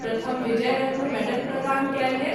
प्रथम विजय रत्न मेडल प्रदान कएल गेल।